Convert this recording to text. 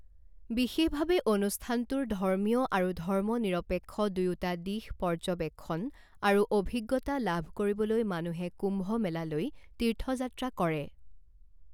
বিশেষভাৱে অনুষ্ঠানটোৰ ধৰ্মীয় আৰু ধৰ্মনিৰপেক্ষ দুয়োটা দিশ পৰ্যবেক্ষণ আৰু অভিজ্ঞতা লাভ কৰিবলৈ মানুহে কুম্ভমেলালৈ তীৰ্থযাত্ৰা কৰে।